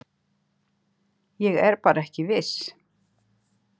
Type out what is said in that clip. Ég er bara ekki viss.